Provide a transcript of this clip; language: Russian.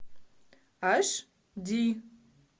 аш ди